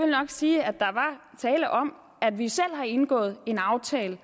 nok sige at der er tale om at vi selv har indgået en aftale